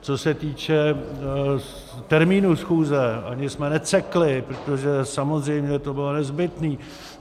Co se týče termínu schůze, ani jsme necekli, protože samozřejmě to bylo nezbytné.